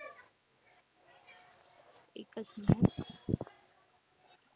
एकच minute.